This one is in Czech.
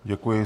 Děkuji.